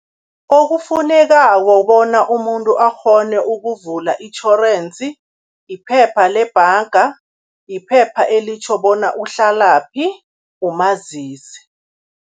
Okufunekako bona umuntu akghone ukuvula itjhorensi, iphepha lebhanga, iphepha elitjho bona uhlalaphi, umazisi.